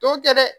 Tɔw tɛ dɛ